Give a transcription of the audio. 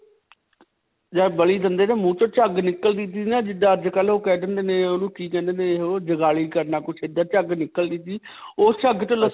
ਜੱਦ ਬਲੀ ਦਿੰਦੇ ਨਾ ਮੁੰਹ 'ਚੋਂ ਝੱਗ ਨਿਕਲਦੀ ਸੀ ਨਾ ਜਿੱਦਾਂ ਅੱਜਕਲ੍ਹ ਓਹ ਕਹਿ ਦਿੰਦੇ ਨੇ ਓਹਨੂੰ ਕਿ ਕਹਿੰਦੇ ਨੇ ਵੀ ਓਹ ਚੁਗਲੀ ਕਰਨਾ. ਕੁਝ ਇੱਦਾਂ ਝੁੱਗ ਨਿਕਲਦੀ ਦੀ ਉਸ ਝੱਗ ਤੋਂ ਲਸੁਨ